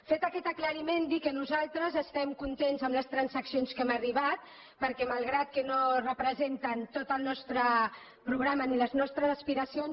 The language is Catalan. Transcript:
fet aquest aclariment dir que nosaltres estem contents amb les transaccions a què hem arribat perquè malgrat que no representen tot el nostre programa ni les nostres aspiracions